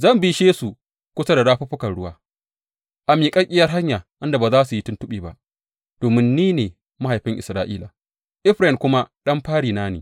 Zan bishe su kusa da rafuffukan ruwa a miƙaƙƙiyar hanya inda ba za su yi tuntuɓe ba, domin ni ne mahaifin Isra’ila, Efraim kuma ɗan farina ne.